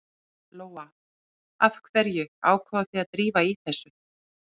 Lóa: Af hverju ákváðuð þið að drífa í þessu?